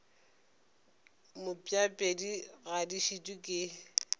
mpšapedi ga di šitwe ke